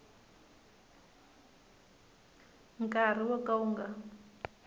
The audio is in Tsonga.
nkarhi wo ka wu nga